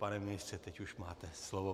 Pane ministře, teď už máte slovo.